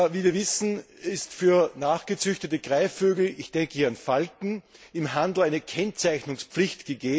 Wie wir wissen, besteht für gezüchtete Greifvögel ich denke hier an Falken im Handel eine Kennzeichnungspflicht.